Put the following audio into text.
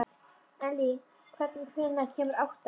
Elly, hvenær kemur áttan?